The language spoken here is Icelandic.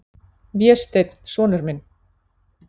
Vésteinn, sonur minn.